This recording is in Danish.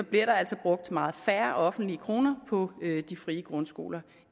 bliver der altså brugt meget færre offentlige kroner på de frie grundskoler